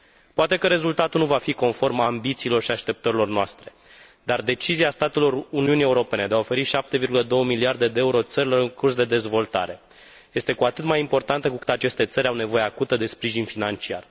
Poate că rezultatul nu va fi conform ambițiilor și așteptărilor noastre, dar decizia statelor Uniunii Europene de a oferi 7,2 miliarde de euro țărilor în curs de dezvoltare este cu atât mai importantă cu cât aceste țări au nevoie acută de sprijin financiar.